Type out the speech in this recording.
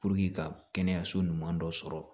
ka kɛnɛyaso ɲuman dɔ sɔrɔ